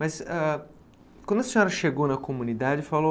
Mas ãh quando a senhora chegou na comunidade e falou